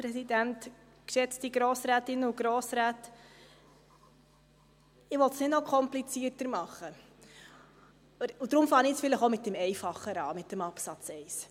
Ich will es nicht noch komplizierter machen, und deshalb beginne ich jetzt vielleicht auch mit dem Einfacheren, mit Absatz 1.